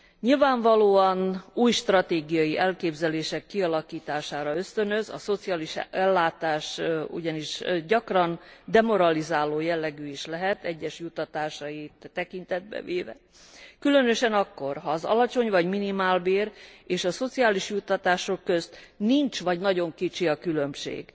Nyilvánvalóan új stratégiai elképzelések kialakítására ösztönöz, a szociális ellátás ugyanis gyakran demoralizáló jellegű is lehet egyes juttatásait tekintetbe véve, különösen akkor, ha az alacsony vagy minimálbér és a szociális juttatások közt nincs vagy nagyon kicsi a különbség.